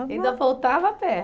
Ainda voltava a pé.